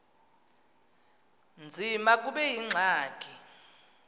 nzima kube yingxaki